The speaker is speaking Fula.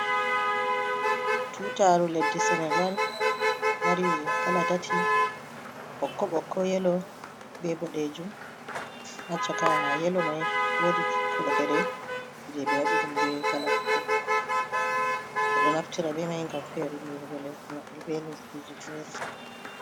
Tutaru leɗɗi senegal, mari kala tati. Ɓokko ɓokko, Yelo, ɓe ɓoɗejum. ha cakaa Yelo mai woɗi ki koɗere je ɓe waɗi ɗum ɓe kala ɓokko ɓokko. Ɓe ɗo naftira ɓe mai ngam ferinɗir go lesɗi maɓɓe ɓe lesɗiji fera.